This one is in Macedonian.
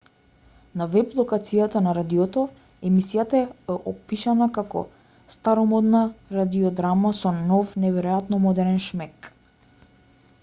на веб-локацијата на радиото емисијата е опишана како старомодна радиодрама со нов и неверојатно модерен шмек